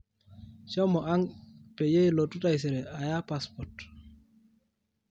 shomo ang peyie ilotu taisere aya passport